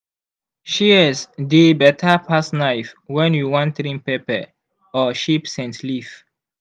shears dey better pass knife when you wan trim pepper or shape scent leaf.